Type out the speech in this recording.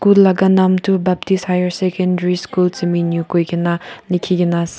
laga naam tu baptist higher secondary school tseminyu kui gina likhi gina ase.